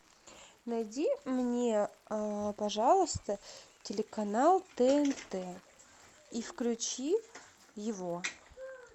найди мне пожалуйста телеканал тнт и включи его